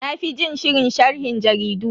Na fi jin shirin sharhin jaridu.